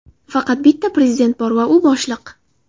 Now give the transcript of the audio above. Faqat bitta prezident bor va u boshliq.